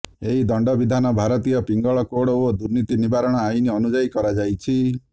ଏହି ଦଣ୍ଡବିଧାନ ଭାରତୀୟ ପିଙ୍ଗଳ କୋଡ ଓ ଦୁର୍ନୀତି ନିବାରଣ ଆଇନ ଅନୁଯାୟୀ କରାଯାଇଛି